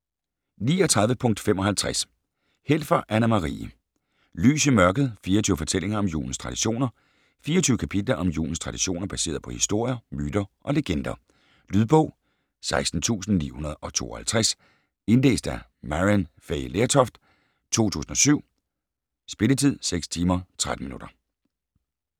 39.55 Helfer, Anna-Marie: Lys i mørket: 24 fortællinger om julens traditioner 24 kapitler om julens traditioner, baseret på historier, myter og legender. Lydbog 16952 Indlæst af Maryann Fay Lertoft, 2007. Spilletid: 6 timer, 13 minutter.